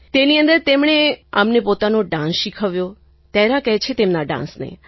તેની અંદર તેમણે અમને પોતાનો ડાન્સ શીખવ્યો તહેરા કહે છે તેમના ડાન્સને